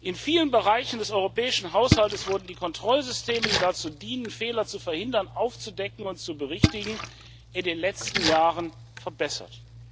In vielen Bereichen des europäischen Haushaltes wurden Kontrollsysteme, die dazu dienen, Fehler zu verhindern, aufzudecken und zu berichtigen, in den letzten Jahren verbessert.